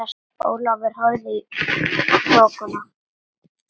Ólafur horfði í þokuna.